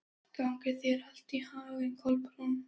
Gangi þér allt í haginn, Kolbrún.